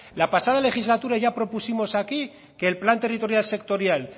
la pasada legislatura ya propusimos aquí que el plan territorial sectorial